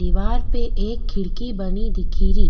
दिवार पे एक खिड़की बनी दिखरी।